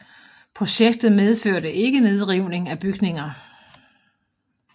Projektet medførte ikke nedrivning af bygninger